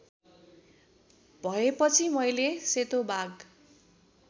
भएपछि मैले सेतो बाघ